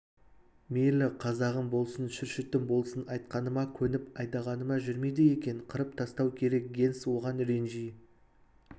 мейлі қазағым болсын шүршітім болсын айтқаныма көніп айдағаныма жүрмейді екен қырып тастау керек генс оған ренжи